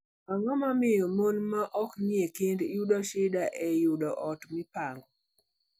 Ang'o momiyo mon ma ok nie kend yudo shida e yudo ot mipango?